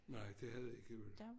Nej det havde I jo ikke